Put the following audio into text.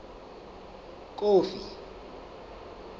kofi